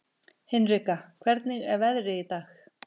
Hinrika, hvernig er veðrið í dag?